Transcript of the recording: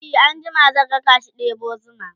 e an jima zan rakashi ɗebo zuma